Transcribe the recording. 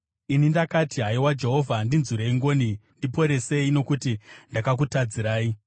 Ini ndakati, “Haiwa Jehovha, ndinzwirei ngoni; ndiporesei, nokuti ndakakutadzirai.”